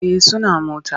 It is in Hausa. Eh suna mota.